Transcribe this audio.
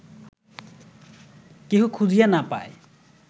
কেহ খুঁজিয়া না পায়